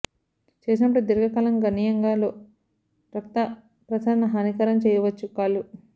చేసినప్పుడు దీర్ఘకాలం గణనీయంగా లో రక్త ప్రసరణ హానికరం చేయవచ్చు కాళ్లు